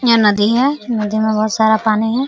यह नदी है नदी में बहुत सारा पानी है।